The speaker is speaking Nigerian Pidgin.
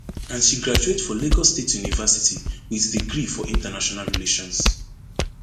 and she graduate for lagos state university wit degree for international relations